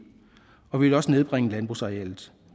og vi vil også nedbringe landbrugsarealet